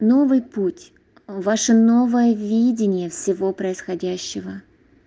новый путь ваше новое видение всего происходящего